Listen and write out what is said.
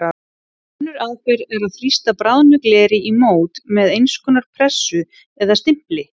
Önnur aðferð er að þrýsta bráðnu gleri í mót með eins konar pressu eða stimpli.